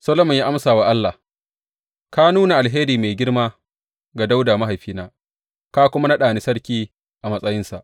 Solomon ya amsa wa Allah, Ka nuna alheri mai girma ga Dawuda mahaifina ka kuma naɗa ni sarki a matsayinsa.